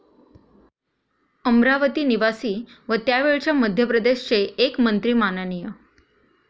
अमरावती निवासी व त्यावेळच्या मध्यप्रदेश चे एक मंत्री मा.